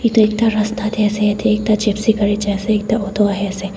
edu ekta rasta tae ase yatae ekta jepsy gari jaase ekta auto ahaease.